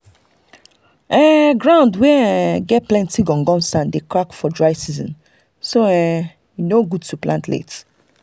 ground um wey um get plenty gum gum sand dey crack for dry season so um e no good to plant late.